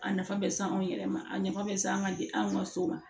A nafa bɛ se anw yɛrɛ ma a nafa bɛ se an ka di anw ka so ma